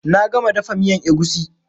Na gama dafa miyan egusi.